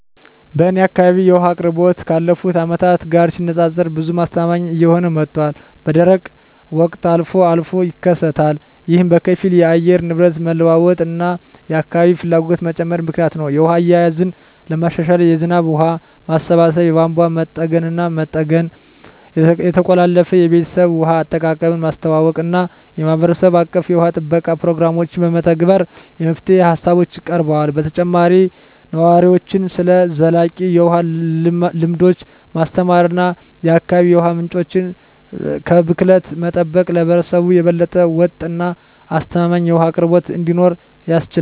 በእኔ አካባቢ የውሃ አቅርቦት ካለፉት አመታት ጋር ሲነፃፀር ብዙም አስተማማኝ እየሆነ መጥቷል፣ በደረቅ ወቅቶች አልፎ አልፎም ይከሰታሉ። ይህ በከፊል የአየር ንብረት መለዋወጥ እና የአካባቢ ፍላጎት መጨመር ምክንያት ነው. የውሃ አያያዝን ለማሻሻል የዝናብ ውሃ ማሰባሰብ፣ የቧንቧ መጠገንና መጠገን፣ የተቀላጠፈ የቤተሰብ ውሃ አጠቃቀምን ማስተዋወቅ እና የማህበረሰብ አቀፍ የውሃ ጥበቃ ፕሮግራሞችን መተግበር የመፍትሄ ሃሳቦች ቀርበዋል። በተጨማሪም ነዋሪዎችን ስለ ዘላቂ የውሃ ልምዶች ማስተማር እና የአካባቢ የውሃ ምንጮችን ከብክለት መጠበቅ ለህብረተሰቡ የበለጠ ወጥ እና አስተማማኝ የውሃ አቅርቦት እንዲኖር ያስችላል።